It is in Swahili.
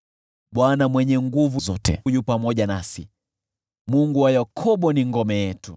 Bwana Mwenye Nguvu Zote yu pamoja nasi; Mungu wa Yakobo ni ngome yetu.